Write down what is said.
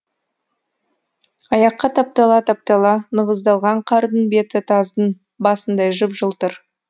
аяққа таптала таптала нығыздалған қардың беті таздың басындай жып жылтыр